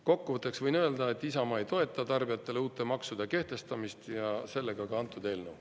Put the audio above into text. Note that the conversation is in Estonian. Kokkuvõtteks võin öelda, et Isamaa ei toeta tarbijatele uute maksude kehtestamist ja sellega ka antud eelnõu.